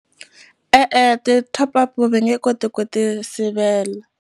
E-e, ti-top up-u va nge koti ku ti sivela.